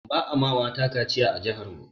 Ba a mata kaciya a jihar mu